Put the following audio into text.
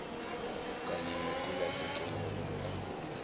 kanye nokulahlekelwa mkhumbulo